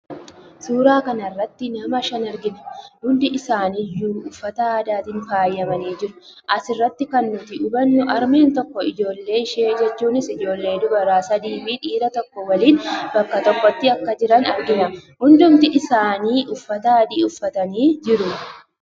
Suura kana irratti nama shan argina. Hundi isaanii iyyuu uffata aadaatiin faayamanii jiru. Asiratti kan nuti hubannu harmeen tokko ijoollee ishii jechuunis ijoollee dubaraa sadii fi dhiiraa tokko waliiin bakka tokkotti akka jiran argina. Hundumti isaanii uffata adii uffatanii jiru